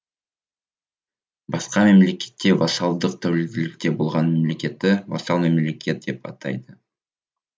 басқа мемлекетке вассалдық тәуелділікте болған мемлекетті вассал мемлекет деп атайды